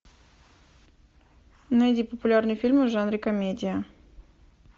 найди популярные фильмы в жанре комедия